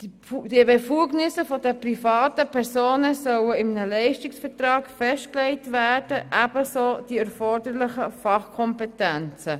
Die Befugnisse der privaten Personen sollen in einem Leistungsvertrag festgelegt werden, ebenso die erforderlichen Fachkompetenzen.